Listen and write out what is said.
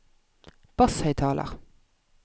basshøyttaler